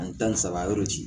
Ani tan ni saba yɔrɔ ci